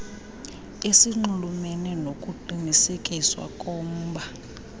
esinxulumene nokuqinisekiswa komba